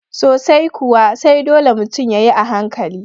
soai kuwa, sai dole mutun yayi a hankali